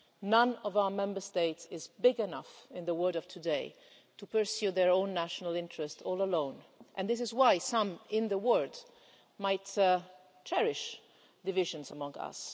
None of our Member States is big enough in the world of today to pursue their own national interests all alone, and this is why some in the world might cherish divisions among us.